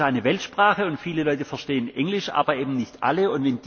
Englisch ist eine Weltsprache, und viele Leute verstehen Englisch, aber eben nicht alle.